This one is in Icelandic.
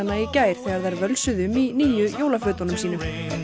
í gær þegar þær völsuðu um í nýju jólafötunum sínum